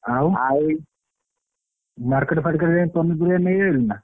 ଆଉ market ଫାରକେଟ ଯାଇ ପନିପରିବା ନେଇ ଆଇଲଣି ନା।